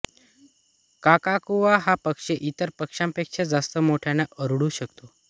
काकाकुवा हा पक्षी ईतर पक्ष्यांपेक्षा जास्त मोठ्याने ओरडू शकतो